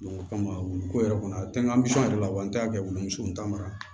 o kama wuluko yɛrɛ kɔnɔ a te n ka misi yɛrɛ la wa an t'a kɛ wulu muso n'a mara